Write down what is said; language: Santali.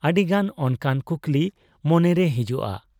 ᱟᱹᱰᱤᱜᱟᱱ ᱚᱱᱠᱟᱱ ᱠᱩᱠᱞᱤ ᱢᱚᱱᱮᱨᱮ ᱦᱤᱡᱩᱜ ᱟ ᱾